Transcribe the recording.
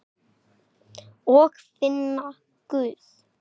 Og finna Guð.